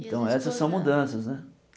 Então essas são mudanças, né?